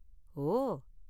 ஓ!